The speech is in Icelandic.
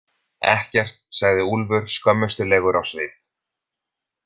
Ekkert, sagði Úlfur skömmustulegur á svip.